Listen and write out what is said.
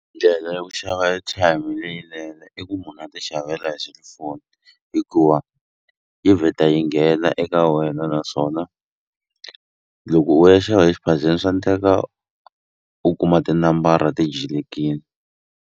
Ndlela ya ku xava airtime leyinene i ku munhu a ti xavela hi selifoni hikuva yi vheta yi nghena eka wena naswona loko u ya xava exiphazeni swa ndleka u kuma tinambara ti .